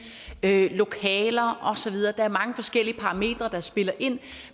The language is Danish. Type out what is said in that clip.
lokaler og så videre der er mange forskellige parametre der spiller ind